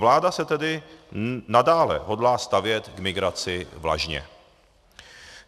Vláda se tedy nadále hodlá stavět k migraci vlažně.